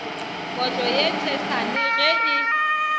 kotlo ye tshesane ge e